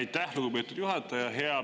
Aitäh, lugupeetud juhataja!